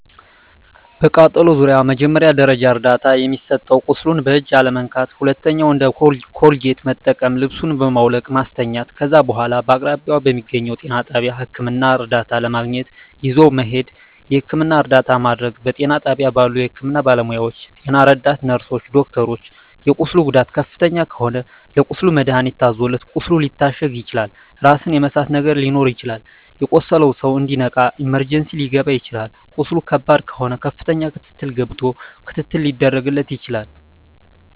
በቃጠሎ ዙሪያ መጀመሪያ ደረጃ እርዳታ የሚሰጠዉ ቁስሉን በእጅ አለመንካት ሁለተኛዉ እንደ ኮልጌት መጠቀም ልብሱን በማዉለቅ ማስተኛት ከዛ በኋላ በአቅራቢያዎ በሚገኘዉ ጤና ጣቢያ ህክምና እርዳታ ለማግኘት ይዞ መሄድ የህክምና እርዳታ ማድረግ በጤና ጣቢያ ባሉ የህክምና ባለሞያዎች ጤና ረዳት ነርስሮች ዶክተሮች የቁስሉ ጉዳት ከፍተኛ ከሆነ ለቁስሉ መድሀኒት ታዞለት ቁስሉ ሊታሸግ ይችላል ራስን የመሳት ነገር ሊኖር ይችላል የቆሰለዉ ሰዉ እንዲነቃ ኢመርጀንሲ ሊከባ ይችላል ቁስሉ ከባድ ከሆነ ከፍተኛ ክትትል ገብቶ ክትትል ሊደረግ ይችላል